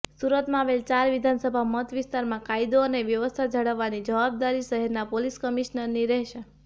સુરતમાં આવેલી ચાર વિધાનસભા મતવિસ્તારમાં કાયદો અને વ્યવસ્થા જાળવવાની જવાબદારી સુરત શહેરનાં પોલીસ કમિશનરની રહેશે